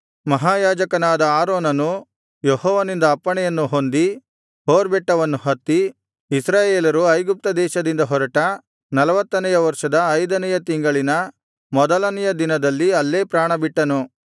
ಮಹಾಯಾಜಕನಾದ ಆರೋನನು ಯೆಹೋವನಿಂದ ಅಪ್ಪಣೆಯನ್ನು ಹೊಂದಿ ಹೋರ್ ಬೆಟ್ಟವನ್ನು ಹತ್ತಿ ಇಸ್ರಾಯೇಲರು ಐಗುಪ್ತ ದೇಶದಿಂದ ಹೊರಟ ನಲ್ವತ್ತನೆಯ ವರ್ಷದ ಐದನೆಯ ತಿಂಗಳಿನ ಮೊದಲನೆಯ ದಿನದಲ್ಲಿ ಅಲ್ಲೇ ಪ್ರಾಣಬಿಟ್ಟನು